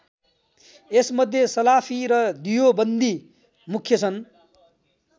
यस मध्ये सलाफी र दियोबन्दी मुख्य छन्।